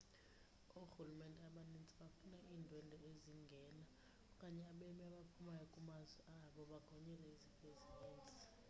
oorhulumente abaninzi bafuna iindwendwe ezingena okanye abemi abaphumayo kumazwe abo bagonyelwe izifo ezininzi